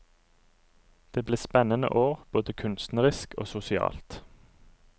Det ble spennende år, både kunstnerisk og sosialt.